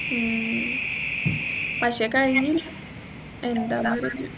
ഉം പക്ഷേ കഴിഞ്ഞില്ല എന്തെന്നറിയില്ല